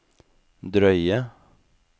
drøye